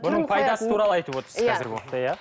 бұның пайдасы туралы айтып отырсыз қазіргі уақытта иә